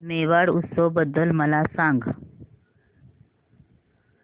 मेवाड उत्सव बद्दल मला सांग